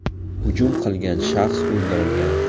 Hujum qilgan shaxs o‘ldirilgan.